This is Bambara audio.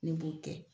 Ne b'o kɛ